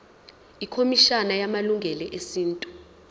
ikhomishana yamalungelo esintu